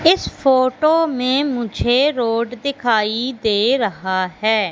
इस फोटो में मुझे रोड दिखाई दे रहा है।